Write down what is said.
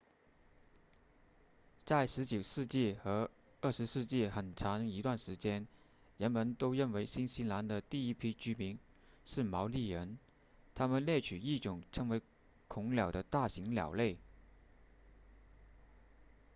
在十九世纪和二十世纪很长一段时间人们都认为新西兰的第一批居民是毛利人他们猎取一种称为恐鸟的大型鸟类